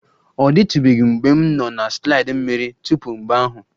Ọ dịtụbeghị mgbe m nọ na slide mmiri tupu mgbe ahụ.